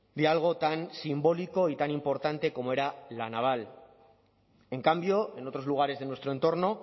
de algo tan simbólico y tan importante como era la naval en cambio en otros lugares de nuestro entorno